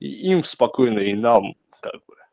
и им спокойно и нам как бы